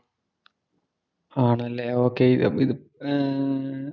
ആണല്ലേ ഓകേ ഇത് ഏർ